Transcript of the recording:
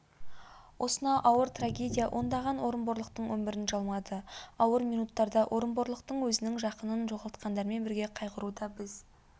осынау ауыр трагедия ондаған орынборлықтың өмірін жалмады ауыр минуттарда орынборлықтан өзінің жақынын жоғалтқандармен бірге қайғыруда біз